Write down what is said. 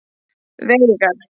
Veigar